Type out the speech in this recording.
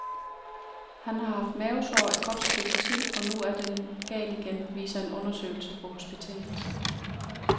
Han har haft mavesår et godt stykke tid, og nu er den gal igen, viser en undersøgelse på hospitalet.